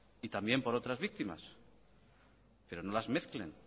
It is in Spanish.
y también por otras víctimas pero no las mezclen